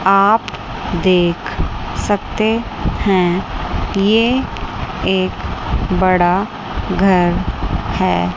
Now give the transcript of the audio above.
आप देख सकते हैं ये एक बड़ा घर है।